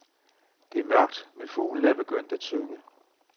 Det er mørkt, men fuglene er begyndt at synge.